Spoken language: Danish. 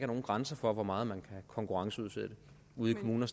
nogen grænse for hvor meget man kan konkurrenceudsætte ude i kommunerne